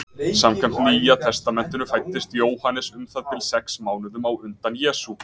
Samkvæmt Nýja testamentinu fæddist Jóhannes um það bil sex mánuðum á undan Jesú.